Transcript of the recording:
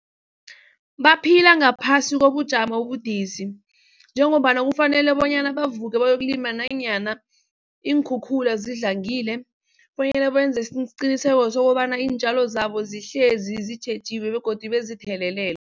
Baphila ngaphasi kobujamo obudisi njengombana kufanele bonyana bavuke bayokulima nanyana iinkhukhula zidlangile bonyana benze isiqiniseko sokobana iintjalo zabo sihlezi zitjhejiwe begodu bazithelelele.